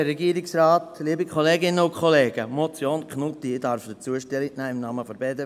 Ich nehme zur Motion Knutti im Namen der BDP-Fraktion Stellung.